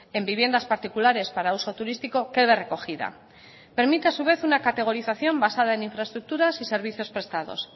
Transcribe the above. en viviendas particulares para uso turístico quede recogida permite a su vez una categorización basada en infraestructuras y servicios prestados